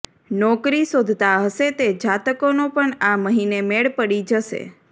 નોકરી શોધતા હશે તે જાતકોનો પણ આ મહિને મેળ પડી જશે